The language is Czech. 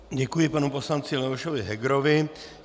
Děkuji panu poslanci Leošovi Hegerovi.